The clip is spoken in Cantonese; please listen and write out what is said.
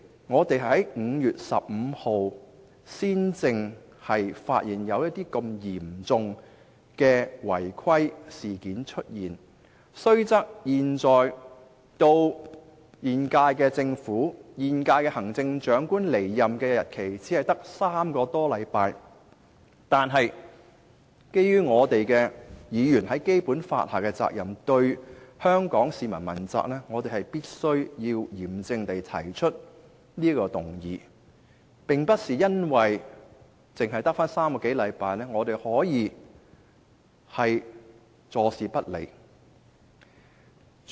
我們在5月15日才發現如此嚴重的違規事件，雖然現時距現屆政府和行政長官離任只有3個多星期，但基於議員在《基本法》下須對香港市民問責，我們必須嚴正提出這項議案，不能因為只餘下3個多星期便坐視不理。